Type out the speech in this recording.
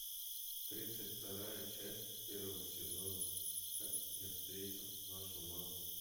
тридцать вторая часть первого сезона как я встретил вашу маму